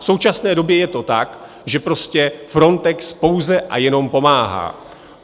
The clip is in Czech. V současné době je to tak, že prostě Frontex pouze a jenom pomáhá.